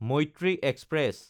Maitree express